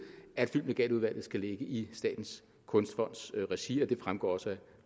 at filmlegatudvalget skulle ligge i statens kunstfonds regi og det fremgår også af